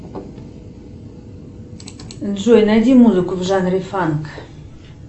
джой найди музыку в жанре фанк